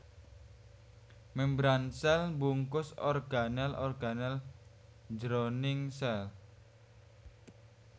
Mémbran sèl mbungkus organel organel jroning sèl